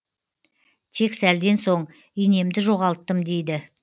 тек сәлден соң инемді жоғалттым дейді